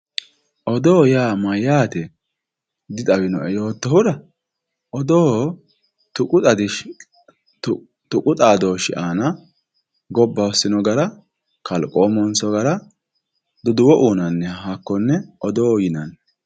Odoo yaa mayyate dixawinoe yoottohura, odoo tuqu xadooshe ,tuqu xadooshi aana gobba hosino gara kalqomu hosino gara duduwo uyinanniha hakkone odoo yinanni.